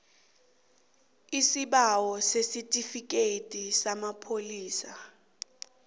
isibawo sesitifikhethi samapholisa